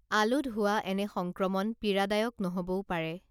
আলুত হোৱা এনে সংক্ৰমন পীড়াদায়ক নহবও পাৰে